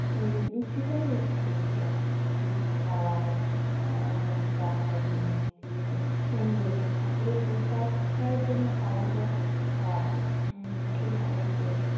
সেই লুচিটাই বেশি খেয়েছিলাম। লুচি খাওয়ায় উম নানারকম তরকারি, মিষ্টি. সুন্দর মানে ঠাকুরের প্রসাদটাই যেন একটা আলাদা স্বাদ খুব ভালো লাগে।